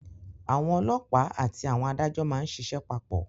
Àwọn ọlọ́pàá àti àwọn adájọ́ má ń ṣíṣe papọ̀